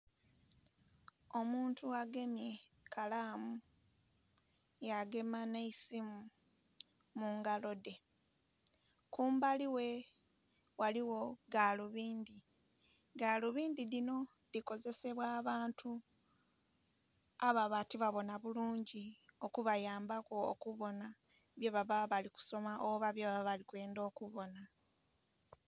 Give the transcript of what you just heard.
Omuntu agemye kalaamu yagema nh'eisimu mu ngalo dhe. Kumbali ghe ghaligho galubindi. Galubindi dhino dhikozesebwa abantu ababa tibabona bulungi okubayambaku okubona bye baba bali kusoma oba bye baba bali kwendha okubona